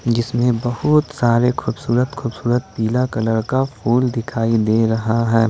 जिसमें बहुत सारे खूबसूरत खूबसूरत पीला कलर का फूल दिखाई दे रहा है ।